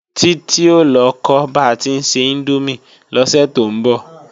Titi o lọ kọ́ ba tí ń se índómì lọ́sẹ̀ tó ń bọ̀